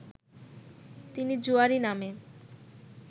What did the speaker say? তিনি জুয়াড়ি নামে